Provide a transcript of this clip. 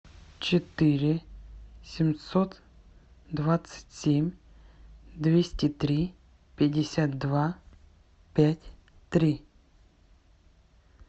четыре семьсот двадцать семь двести три пятьдесят два пять три